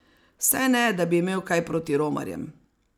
Saj ne, da bi imel kaj proti romarjem.